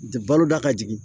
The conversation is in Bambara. Baloda ka jigin